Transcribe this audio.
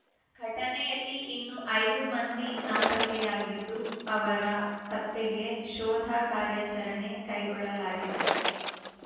ಘಟನೆಯಲ್ಲಿ ಇನ್ನೂ ಐದು ಮಂದಿ ನಾಪತ್ತೆಯಾಗಿದ್ದು ಅವರ ಪತ್ತೆಗೆ ಶೋಧ ಕಾರ್ಯಾಚರಣೆ ಕೈಗೊಳ್ಳಲಾಗಿದೆ